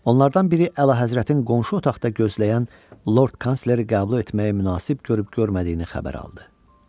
Onlardan biri Əlahəzrətin qonşu otaqda gözləyən lord kansleri qəbul etməyə münasib görüb-görmədiyini xəbər aldı.